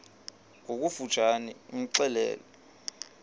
ngokofu tshane imxelele